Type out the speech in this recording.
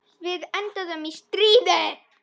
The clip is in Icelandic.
Við enduðum í stríði.